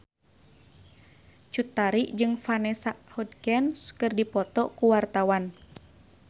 Cut Tari jeung Vanessa Hudgens keur dipoto ku wartawan